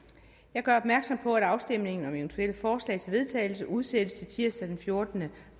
jeg gør opmærksom på at afstemning om eventuelle forslag til vedtagelse udsættes til tirsdag den fjortende